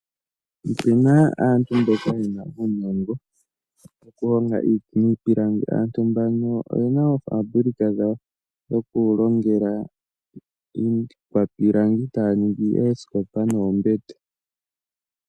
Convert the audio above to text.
Opu na aantu mboka ye na uunongo wokulonga niipilangi. Oye na oofabulika dhawo dhokulongela iikwapilangi haa ningi oosikopa noombete.